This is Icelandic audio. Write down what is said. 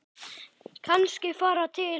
Kannski fara til